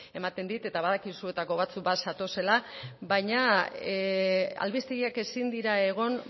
ematen dit eta badakit zuetako batzuk bat zatozela baina albistegiak ezin dira egon